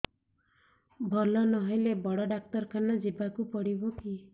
ଭଲ ନହେଲେ ବଡ ଡାକ୍ତର ଖାନା ଯିବା କୁ ପଡିବକି